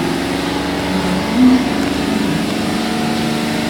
Razum s tem nima nič.